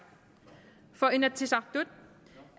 for inatsisartut